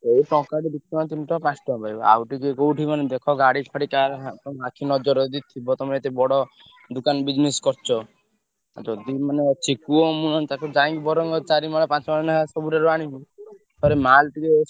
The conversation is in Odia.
ଏଇ ଟଙ୍କାଟେ ଦି ଟଙ୍କା ତିନି ଟଙ୍କା ପାଞ୍ଚ ଟଙ୍କା ଦେବେ। ଆଉ ଟିକେ କୋଉଠି ମାନେ ଦେଖ ଗାଡି ଫାଡି କାହାର ଆଖି ନଜରରେ ଯଦି ଥିବ ତମେ ଏତେ ବଡ ଦୋକନ business କରୁଛ। ଯଦି ମାନେ ଅଛି କୁହ ମୁଁ ନହେଲେ ତାକୁ ଯାଇ ବରଂ ଚାରି ମାଳ ପାଞ୍ଚ ମାଳ ଲେଖା ସବୁଥିରୁ ଆଣିବି। ଥରେ ମାଲ ଟିକେ।